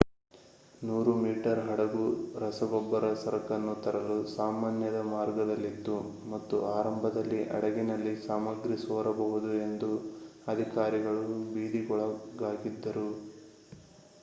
100 metre ಹಡಗು ರಸಗೊಬ್ಬರ ಸರಕನ್ನು ತರಲು ಸಾಮಾನ್ಯದ ಮಾರ್ಗದಲ್ಲಿತ್ತು ಮತ್ತು ಆರಂಭದಲ್ಲಿ ಹಡಗಿನಲ್ಲಿ ಸಾಮಗ್ರಿ ಸೋರಬಹುದು ಎಂದು ಅಧಿಕಾರಿಗಳು ಭೀತಿಗೊಳಗಾಗಿದ್ದರು